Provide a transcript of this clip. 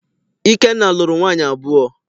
Ikenna lụrụ nwaanyị abụọ.